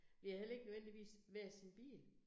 Vi havde heller ikke nødvendigvis hver sin bil